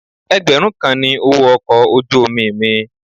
Ẹgbẹ̀rún kan ni owó ọkọ̀ ojú omi mi.